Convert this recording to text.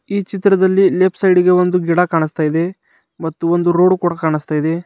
ಈ ಚಿತ್ರದಲ್ಲಿ left side ಗೆ ಒಂದು ಗಿಡ ಕಾಣುಸ್ತಾ ಇದೆ ಮತ್ತು ಒಂದು ರೋಡು ಕೂಡಾ ಕಾಣುಸ್ತಾ ಇದೆ.